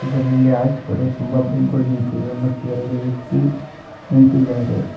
ಇದರಲ್ಲಿ ಆಚ್ಗಡೆ ತುಂಬಾ ಬೈಕ್ ಗುಳ್ ನಿಂತಿದೆ ಮತ್ತೇರಡು ವ್ಯಕ್ತಿ ನಿಂತಿದ್ದಾರೆ.